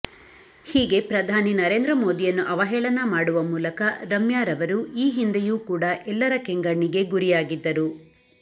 ಹೀಗೆ ಪ್ರಧಾನಿ ನರೇಂದ್ರ ಮೋದಿಯನ್ನು ಅವಹೇಳನ ಮಾಡುವ ಮೂಲಕ ರಮ್ಯಾರವರು ಈ ಹಿಂದೆಯೂ ಕೂಡ ಎಲ್ಲರ ಕೆಂಗಣ್ಣಿಗೆ ಗುರಿಯಾಗಿದ್ದರು